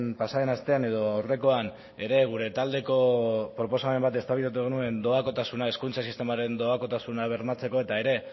pasaden astean edo aurrekoan ere gure taldeko proposamen bat eztabaidatu genuen hezkuntza sistemaren doakotasuna bermatzeko eta ere